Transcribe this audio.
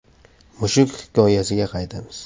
Mushuk hikoyasiga qaytamiz.